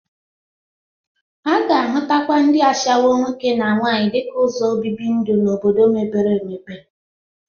A ga-ahụtakwa ndị ashawọ nwoke na nwaanyị dịka ụzọ obibi ndu n'obodo mepere emepe.